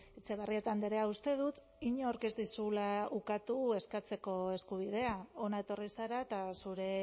etxebarrieta andrea uste dut inork ez dizula ukatu eskatzeko eskubidea hona etorri zara eta zure